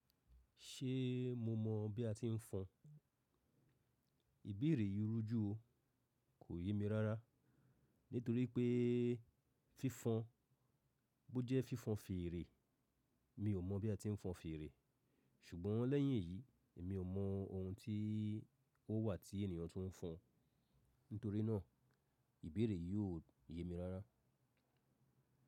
Ṣé mo mọ bí a ti ń fọn? Ibere yìí rújú o, kò yémi rárá. Nítorí pé fífọn bó jẹ́ fífọn fèrè, mi ò mọ bí a ti ń fọn fèrè. Ṣùgbọ́n lẹ́yìn èyí, èmi ò mọ ohun tí ó wà tí ènìyàn tún ń fọn. Nítorí náà, ibere yí ò yémi rárá.